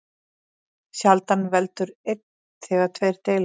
Sjaldan veldur einn þegar tveir deila.